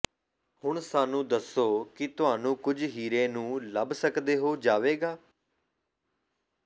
ਹੁਣ ਸਾਨੂੰ ਦੱਸੋ ਕਿ ਤੁਹਾਨੂੰ ਕੁਝ ਹੀਰੇ ਨੂੰ ਲੱਭ ਸਕਦੇ ਹੋ ਜਾਵੇਗਾ